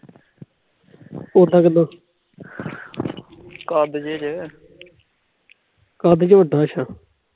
ਕਬਜ